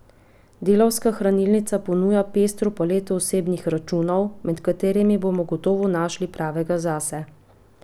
Delavska hranilnica ponuja pestro paleto osebnih računov, med katerimi bomo gotovo našli pravega zase.